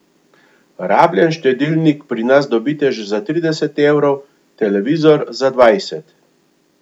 Rabljen štedilnik pri nas dobite že za trideset evrov, televizor za dvajset.